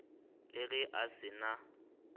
le ge a se na